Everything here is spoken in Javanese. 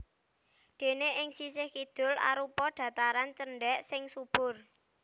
Déné ing sisih kidul arupa dhataran cendhèk sing subur